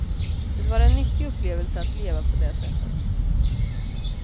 Det var en nyttig upplevelse att leva på det sättet.